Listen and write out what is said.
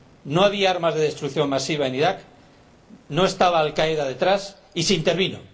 No había armas de destrucción masiva en Irak, no estaba Al Qaeda detrás, y se intervinó.